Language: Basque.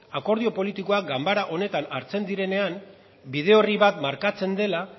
akordio politikoak ganbara honetan hartzen direnean bide orri bat markatzen dela